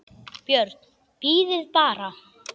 BJÖRN: Bíðið bara!